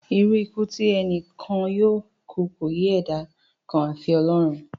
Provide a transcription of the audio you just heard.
Irú ikú tí ẹni kọ̀ọ̀kan yóò kú ni kò yé ẹ̀dá kan àfi Ọlọ́run